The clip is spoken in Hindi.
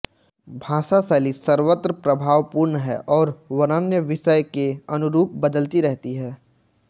भाषाशैली सर्वत्र प्रभावपूर्ण है और वर्ण्य विषय के अनुरूप बदलती रहती है